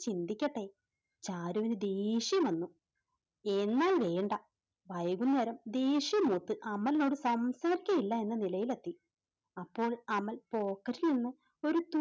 ചിന്തിക്കട്ടെ. ചാരുവിന് ദേഷ്യം വന്നു, എന്നാൽ വേണ്ട വൈകുന്നേരം ദേഷ്യം മൂത്ത് അമലിനോട് സംസാരിക്കുകയില്ല എന്ന നിലയിൽ എത്തി. അപ്പോൾ അമൽ pocket ൽ നിന്ന് ഒരു